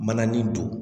Mananin don